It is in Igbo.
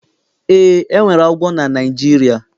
Ee, enwere agwọ na Naijiria